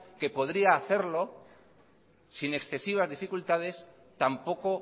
que podría hacerlo sin excesivas dificultades tampoco